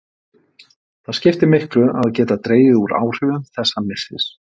Það skiptir miklu að geta dregið úr áhrifum þessa missis.